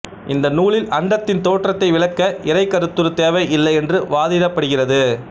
இந்த நூலில் அண்டத்தின் தோற்றத்தை விளக்க இறை கருத்துரு தேவை இல்லை என்று வாதிக்கப்படுகிறது